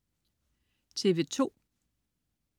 TV2: